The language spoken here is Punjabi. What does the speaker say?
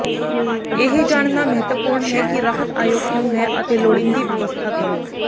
ਇਹ ਜਾਣਨਾ ਮਹੱਤਵਪੂਰਣ ਹੈ ਕਿ ਰਾਹਤ ਅਯੋਗ ਕਿਉਂ ਹੈ ਅਤੇ ਲੋੜੀਂਦੀ ਵਿਵਸਥਾ ਕਰੋ